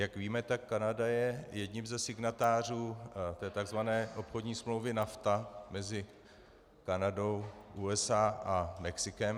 Jak víme, tak Kanada je jedním ze signatářů té tzv. obchodní smlouvy NAFTA mezi Kanadou, USA a Mexikem.